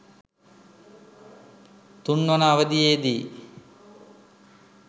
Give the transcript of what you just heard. තුන්වන අවධියේදී